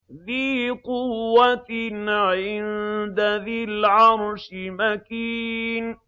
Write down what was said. ذِي قُوَّةٍ عِندَ ذِي الْعَرْشِ مَكِينٍ